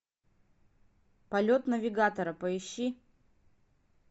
полет навигатора поищи